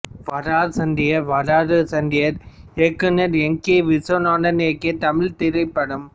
வாரார் சண்டியர் வர்றாரு சண்டியரு இயக்குனர் N K Viswanathan இயக்கிய தமிழ்த் திரைப்படம்